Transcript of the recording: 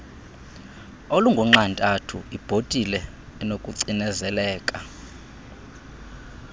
olungunxantathu ibhotile enokucinezeleka